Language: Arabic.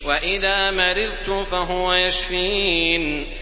وَإِذَا مَرِضْتُ فَهُوَ يَشْفِينِ